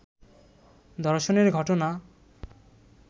ধর্ষণের ঘটনা